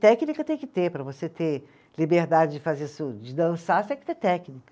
Técnica tem que ter para você ter liberdade de fazer su, de dançar, você tem que ter técnica.